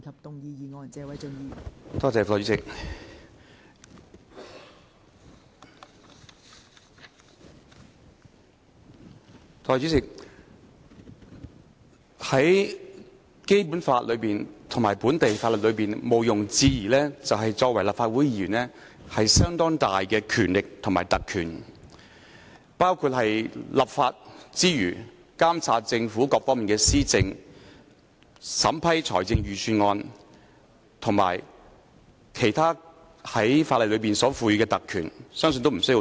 代理主席，在《基本法》及本地法律中毋庸置疑的一點是立法會議員擁有相當大的權力和特權，在立法之餘，還包括監察政府各方面的施政、審批財政預算案及法例所賦予的其他特權，相信也無須多說。